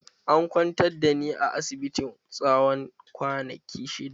An kwantar da ni a asibiti tsawon kwanaki shidda.